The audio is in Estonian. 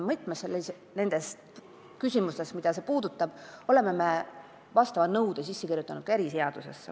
Kui tegu on teatud küsimustega, siis oleme vastava nõude eriseadusesse kirja pannud.